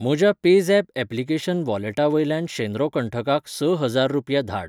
म्हज्या PayZapp application वॉलेटा वयल्यान शेद्रो कंठकाक ,स हजार रुपया धाड